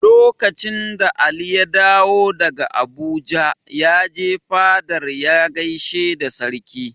Lokacin da Ali ya dawo daga Abuja, ya je fadar ya gaishe da Sarki.